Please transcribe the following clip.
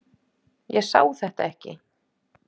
Ég sá þetta ekki.